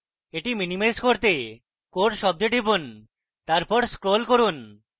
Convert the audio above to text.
এটি minimize করতে core শব্দে টিপুন তারপর scroll করুন